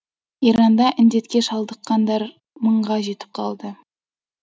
иранда індетке шалдыққандар мыңға жетіп қалды